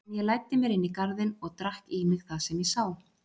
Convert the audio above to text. En ég læddi mér inn í garðinn og drakk í mig það sem ég sá.